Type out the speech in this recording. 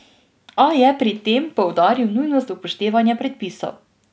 A je pri tem poudaril nujnost upoštevanja predpisov.